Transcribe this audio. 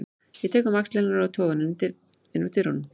Ég tek um axlir hennar og toga hana inn úr dyrunum.